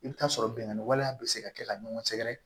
I bɛ taa sɔrɔ binganni waleya bɛ se ka kɛ ka ɲɔgɔn sɛgɛrɛ